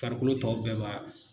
Farikolo tɔw bɛɛ b'a